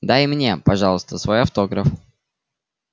дай мне пожалуйста свой автограф